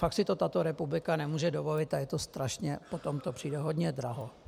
Fakt si to tato republika nemůže dovolit a je to strašně - potom to přijde hrozně draho.